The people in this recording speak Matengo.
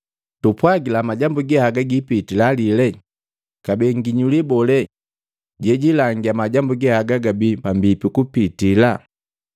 “Tumpwagila majambu ge haga gipitila lile, kabee nginyuli bole jejilangia majambu ge haga gabi pambipi kupitila?”